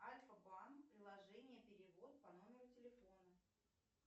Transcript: альфа банк приложение перевод по номеру телефона